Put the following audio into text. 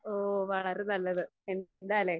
ഓ വളരെ നല്ലത്. എന്താലേ?